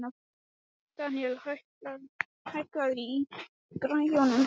Deníel, hækkaðu í græjunum.